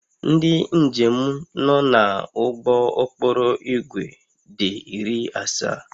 Ndị njem nọ n'ụgbọ okporo ígwè dị iri asaa